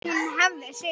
Hún hafði sigur.